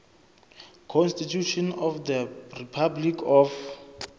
constitution of the republic of